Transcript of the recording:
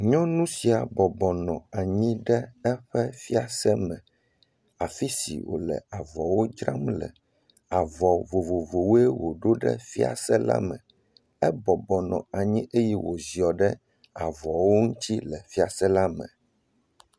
Nyɔnu sia nɔ anyi ɖe eƒe fiase me. Afi si wòle avɔwo dzram le. Avɔ vovovowoe wòɖo ɖe fiase la me. Ebɔbɔ nɔ anyi eye wòziɔ ɖe avɔwo ŋutsi le fiase la me